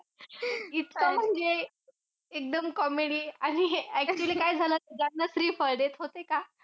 इतकं म्हणजे एकदम comedy आणि हे actually काय झालं ज्यांना श्रीफळ देत होते का